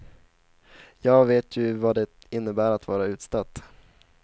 Jag vet ju vad det innebär att vara utstött.